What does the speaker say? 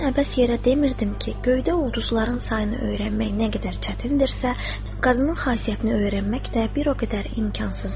Mən əbəs yerə demirdim ki, göydə ulduzların sayını öyrənmək nə qədər çətindirsə, qadının xasiyyətini öyrənmək də bir o qədər imkansızdır.